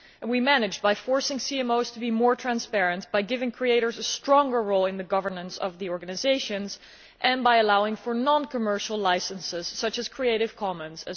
We managed this by forcing CMOs to be more transparent, by giving creators a stronger role in the governance of the organisations, and also by allowing for non commercial licences, such as Creative Commons.